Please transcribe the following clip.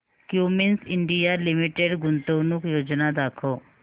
Cummins India limited गुंतवणूक योजना दाखव